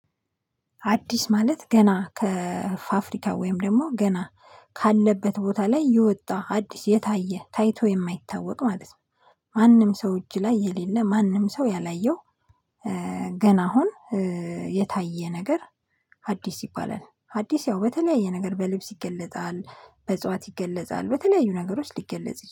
አዲስ ማለት ገና ከፋፍሪካ ወይም ደግሞ ገና ካለበት ቦታ ላይ የወጣ አዲስ የታየ ታይቶ የማይታወቅ ማለት ነው። ማንም ሰው እጅ ላይ የሌለ ማንም ሰው ያላየው ገና አሁን የታየ ነገር አዲስ ይባላል። አዲስ ያው በተለያየ ነገር በልብስ ይገለጣል በእጽዋት ይገለጻል በተለያዩ ነገሮች ሊገለጽ